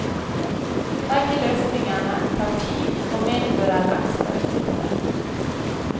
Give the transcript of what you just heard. Begge løsningene tar tid og medfører ekstrautgifter.